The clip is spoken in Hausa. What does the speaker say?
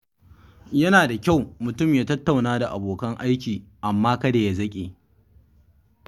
Yana da kyau mutum ya tattauna da abokan aiki, amma kada ya zaƙe.